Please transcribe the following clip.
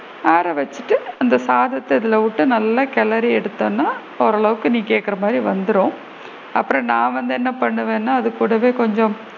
ஆற வச்சிட்டு அந்த சாதத்த இதுல வுட்டு நல்லா கெளரி எடுத்திடனும் ஓரளவுக்கு நீ கேக்குற மாதிரி வந்திடும் அப்பரம் நான் வந்து என்ன பண்ணுவேனா அது கூடவே கொஞ்சம்